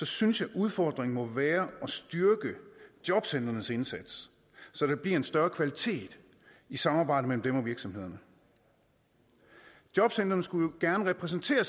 synes jeg udfordringen må være at styrke jobcentrenes indsats så der bliver en større kvalitet i samarbejdet mellem dem og virksomhederne jobcentrene skulle jo gerne repræsentere